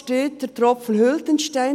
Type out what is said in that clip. «Steter Tropfen höhlt den Stein.